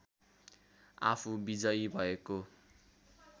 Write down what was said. आफू विजयी भएको